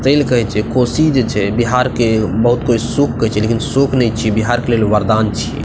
ते ले कहय छै कोसी जे छै बिहार के बहुत कोय शौक कहे छै लेकिन शौक ने छै बिहार के लोग के लिए वरदान छीये ।